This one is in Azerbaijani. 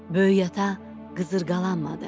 Böyük ata qızıqalanmadı.